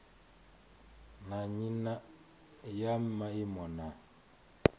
na nnyi ya maimo na